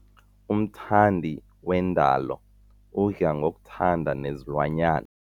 Umthandi wendalo udla ngokuthanda nezilwanyana.